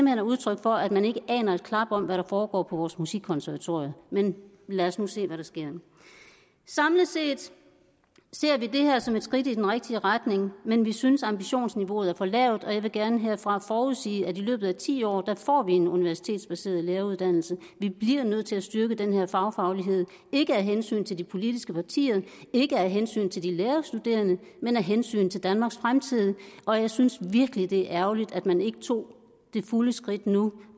er udtryk for at man ikke aner et klap om hvad der foregår på vores musikkonservatorier men lad os nu se hvad der sker samlet set ser vi det her som et skridt i den rigtige retning men vi synes at ambitionsniveauet er for lavt og jeg vil gerne herfra forudsige at vi i løbet af ti år får en universitetsbaseret læreruddannelse vi bliver nødt til at styrke denne fagfaglighed ikke af hensyn til de politiske partier ikke af hensyn til de lærerstuderende men af hensyn til danmarks fremtid og jeg synes virkelig at det er ærgerligt at man ikke tog det fulde skridt nu